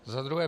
Za druhé.